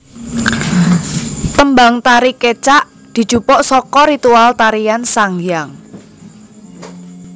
Tembang tari Kecak dijupuk saka ritual tarian sanghyang